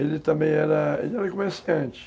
Ele também era... Ele era comerciante.